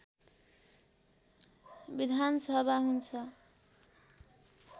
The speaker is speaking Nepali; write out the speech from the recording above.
विधानसभा हुन्छ